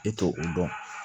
E t'o o dɔn